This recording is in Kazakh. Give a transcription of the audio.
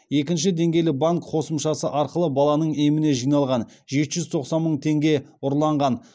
екінші деңгейлі банк қосымшасы арқылы баланың еміне жиналған жеті жүз тоқсан мың теңге ұрланған